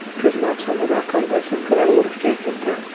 Kuz mavsumida qanday sumkalar urfga kirdi?